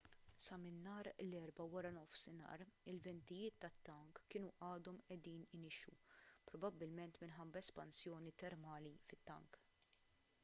sa minn nhar l-erbgħa wara nofsinhar il-ventijiet tat-tank kienu għadhom qiegħdin inixxu probabbilment minħabba l-espansjoni termali fit-tank